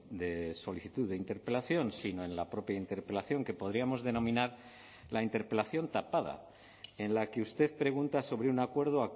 de solicitud de interpelación sino en la propia interpelación que podríamos denominar la interpelación tapada en la que usted pregunta sobre un acuerdo